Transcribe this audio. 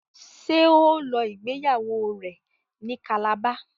ṣe o ló ìgbéyàwó rẹ ní Calabar?